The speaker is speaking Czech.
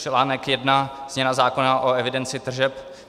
Článek I Změna zákona o evidenci tržeb.